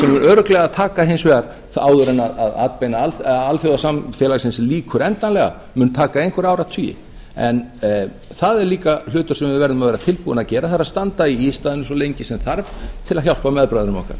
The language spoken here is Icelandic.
örugglega takast hins vegar án atbeina alþjóðasamfélagsins lýkur endanlega mun taka einhverja áratugi en það er líka hlutur sem við verðum að vera tilbúin að gera það er að standa í ístaðinu eins lengi sem þarf til þess að hjálpa meðbræðrum okkar